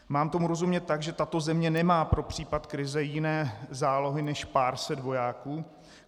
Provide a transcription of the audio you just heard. Mám tomu rozumět tak, že tato země nemá pro případ krize jiné zálohy než pár set vojáků?